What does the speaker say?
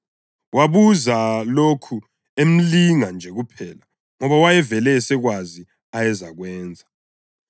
Wabuza lokhu emlinga nje kuphela ngoba wayevele esekwazi ayezakwenza.